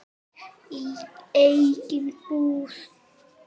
Í eigin íbúð.